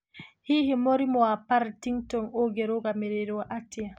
Hihi mũrimũ wa Partington ũngĩrũgamagĩrĩrũo atĩa?